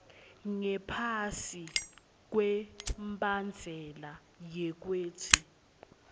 ngaphasi kwembandzela wekutsi